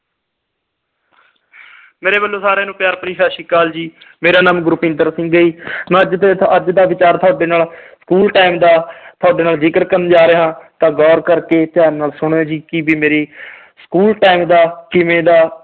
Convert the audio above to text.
ਮੇਰੇ ਵੱਲੋਂ ਸਾਰਿਆਂ ਨੂੰ ਪਿਆਰ ਭਰੀ ਸਤਿ ਸ੍ਰੀ ਅਕਾਲ ਜੀ ਮੇਰਾ ਨਾਮ ਗੁਰਪਿੰਦਰ ਸਿੰਘ ਹੈ ਮੈਂ ਅੱਜ ਦੇ ਅੱਜ ਦਾ ਵਿਚਾਰ ਤੁਹਾਡੇ ਨਾਲ school time ਦਾ ਤੁਹਾਡੇ ਨਾਲ ਜਿਕਰ ਕਰਨ ਜਾ ਰਿਹਾ ਹਾਂ ਤਾਂ ਗੋਰ ਕਰਕੇ ਧਿਆਨ ਨਾਲ ਸੁਣਿਓ ਜੀ ਕੀ ਵੀ ਮੇਰੀ school time ਦਾ ਕਿਵੇਂ ਦਾ